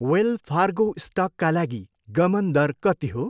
Well Fargo स्टकका लागि गमन दर कति हो?